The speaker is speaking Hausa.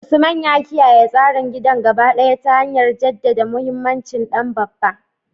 Usman ya kiyaye tsarin gidan gaba ɗaya ta hanyar jaddada muhimmancin dan babba.